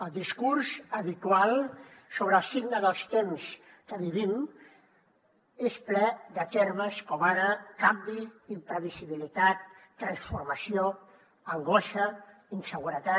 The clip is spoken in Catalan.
el discurs habitual sobre el signe dels temps que vivim és ple de termes com ara canvi imprevisibilitat transformació angoixa inseguretat